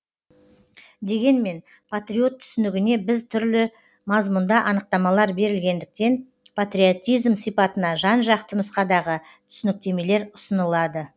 дегенмен патриот түсінігіне біз түрлі мазмұнда анықтамалар берілгендіктен патриотизм сипатына жан жақты нұсқадағы түсініктемелер ұсынылады